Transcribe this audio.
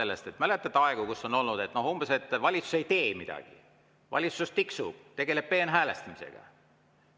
Kas mäletate aegu, kui on olnud umbes, et valitsus ei tee midagi, valitsus tiksub, tegeleb peenhäälestamisega?